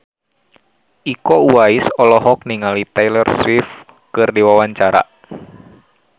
Iko Uwais olohok ningali Taylor Swift keur diwawancara